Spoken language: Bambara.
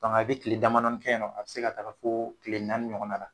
a bɛ tile jamadɔni kɛ yɛ nɔ, a bɛ se ka taga foo tile naani ɲɔgɔnna la.